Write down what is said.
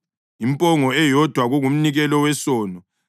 impongo eyodwa kungumnikelo wesono;